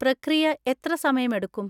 പ്രക്രിയ എത്ര സമയമെടുക്കും?